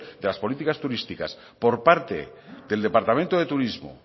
de las políticas turísticas por parte del departamento de turismo